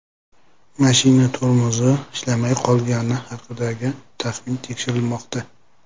Mashina tormozi ishlamay qolgani haqidagi taxmin tekshirilmoqda.